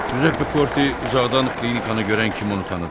Cüzəppe Korte uzaqdan klinikanı görən kimi onu tanıdı.